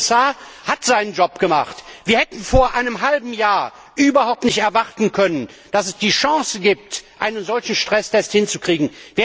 Der Kommissar hat seinen Job gemacht! Wir hätten vor einem halben Jahr überhaupt nicht erwarten können, dass es die Chance gibt, eine solchen Stresstest hinzukriegen.